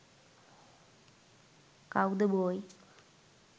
cow the boy